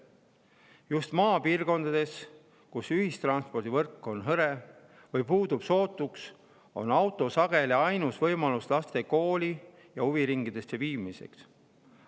Just maapiirkondades, kus ühistranspordivõrk on hõre või puudub sootuks, on auto sageli ainus võimalus laste kooli ja huviringi viimiseks.